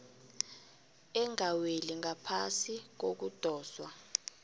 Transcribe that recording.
engaweli ngaphasi kokudoswa